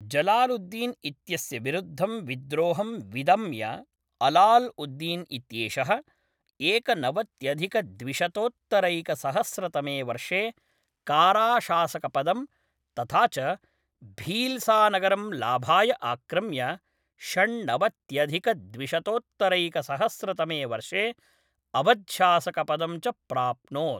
जलालुद्दीन् इत्यस्य विरुद्धं विद्रोहं विदम्य अलाल् उद्दीन् इत्येषः एकनवत्यधिकद्विशतोत्तरैकसहस्रतमे वर्षे काराशासकपदं, तथा च भील्सानगरम् लाभाय आक्रम्य षण्णवत्यधिकद्विशतोत्तरैकसहस्रतमे वर्षे अवध् शासकपदं च प्राप्नोत्।